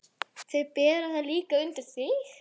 Þeir bera það líklega undir þig.